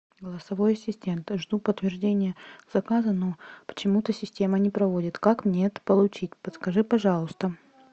голосовой ассистент жду подтверждения заказа но почему то система не проводит как мне это получить подскажи пожалуйста